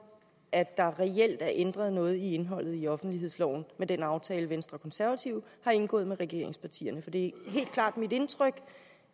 at der reelt er ændret noget i indholdet i offentlighedsloven med den aftale venstre og konservative har indgået med regeringspartierne for det er helt klart mit indtryk